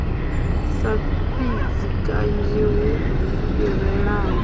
sa fhidzi kanzhi hu fhirelaho